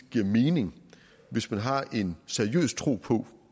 giver mening hvis man har en seriøs tro på